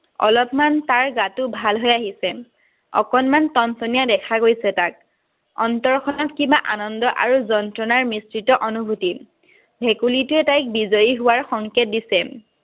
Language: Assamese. অলপমান তাৰ গাটো ভালহৈ আহিছে। অকণমান টনটনীয়া দেখা গৈছে তাক। অন্তৰখনত কিবা আনন্দ আৰু যন্ত্ৰণাৰ মিশ্ৰিত অনুভূতি। ভেকুলীটোৱে তাইক বিজয়ী হোৱাৰ সংকেত দিছে।